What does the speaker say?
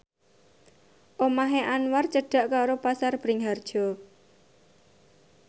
omahe Anwar cedhak karo Pasar Bringharjo